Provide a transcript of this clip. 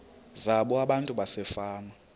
zabo abantu basefama